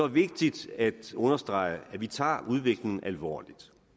vigtigt at understrege at vi tager udviklingen alvorligt